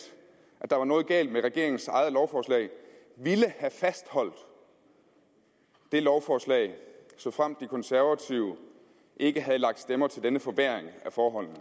at der var noget galt med regeringens eget lovforslag ville have fastholdt det lovforslag såfremt de konservative ikke havde lagt stemmer til denne forværring af forholdene